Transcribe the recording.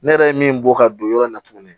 Ne yɛrɛ ye min bɔ ka don yɔrɔ in na tuguni